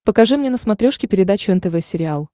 покажи мне на смотрешке передачу нтв сериал